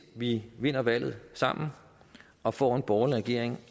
vi vinder valget sammen og får en borgerlig regering